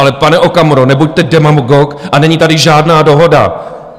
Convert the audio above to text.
Ale pane Okamuro, nebuďte demagog a není tady žádná dohoda.